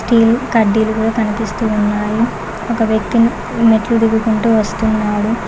Steel కడ్డీలు కూడా కనిపిస్తూ ఉన్నాయి ఒక వ్యక్తిని మెట్లు దిగుకుంటూ వస్తున్నాడు.